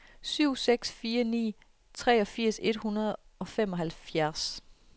syv seks fire ni treogfirs et hundrede og femoghalvfjerds